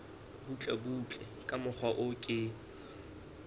butlebutle ka mokgwa o ke